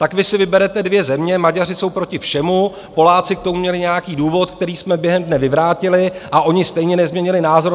Tak vy si vyberete dvě země - Maďaři jsou proti všemu, Poláci k tomu měli nějaký důvod, který jsme během dne vyvrátili, a oni stejně nezměnili názor.